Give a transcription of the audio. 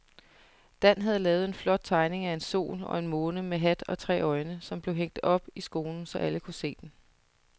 Dan havde lavet en flot tegning af en sol og en måne med hat og tre øjne, som blev hængt op i skolen, så alle kunne se den.